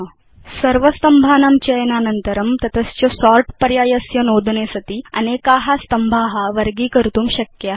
आदौ सर्व स्तम्भानां चयनानन्तरं तत च सोर्ट् पर्यायस्य नोदने सति अनेका स्तम्भा वर्गीकर्तुं शक्या